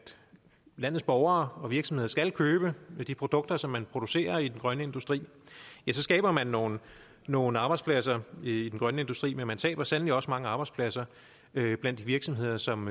landets borgere og virksomheder skal købe de produkter som man producerer i den grønne industri så skaber man nogle nogle arbejdspladser i den grønne industri men man taber sandelig også mange arbejdspladser blandt virksomheder som